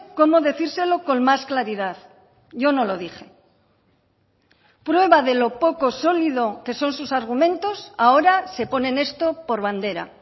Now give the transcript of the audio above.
cómo decírselo con más claridad yo no lo dije prueba de lo poco solido que son sus argumentos ahora se ponen esto por bandera